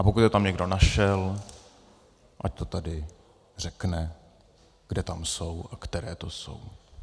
A pokud je tam někdo našel, ať to tady řekne, kde tam jsou a které to jsou.